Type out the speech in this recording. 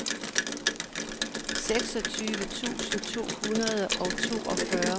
seksogtyve tusind to hundrede og toogfyrre